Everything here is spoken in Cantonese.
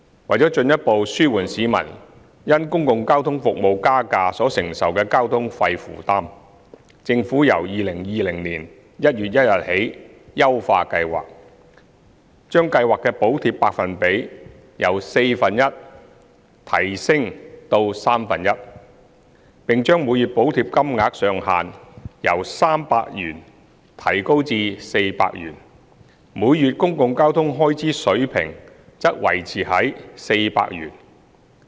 為進一步紓緩市民因公共交通服務加價所承受的交通費負擔，政府由2020年1月1日起優化計劃，將計劃的補貼百分比由四分之一提升至三分之一，並將每月補貼金額上限由300元提高至400元，而每月公共交通開支水平則維持於400元。